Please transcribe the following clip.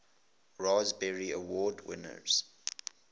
raspberry award winners